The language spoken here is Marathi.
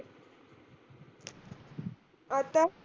आत्ता?